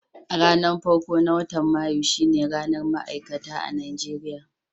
Ranan farko na watan Mayu shine ranan Ma'aikata a'Nijeriya.